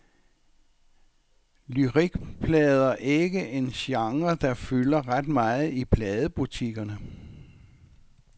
Lyrikplader ikke en genre, der fylder ret meget i pladebutikkerne.